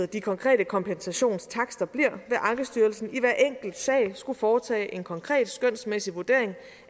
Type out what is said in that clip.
de konkrete kompensationstakster bliver vil ankestyrelsen i hver enkelt sag skulle foretage en konkret skønsmæssig vurdering